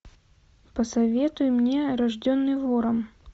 посоветуй мне рожденный ворон